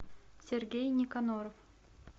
сергей никоноров